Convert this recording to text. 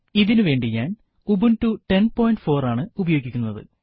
ഇതിനു വേണ്ടി ഞാൻ ഉബുണ്ടു 1004 ആണ് ഉപയോഗിക്കുന്നത്